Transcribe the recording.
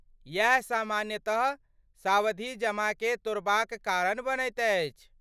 इएह सामान्यतः सावधिजमाकेँ तोड़बाक कारण बनैत अछि।